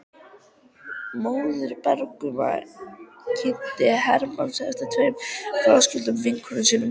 Móðir brúðgumans kynnti Hermann fyrir tveimur fráskildum vinkonum sínum.